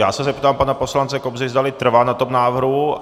Já se zeptám pana poslance Kobzy, zdali trvá na tom návrhu.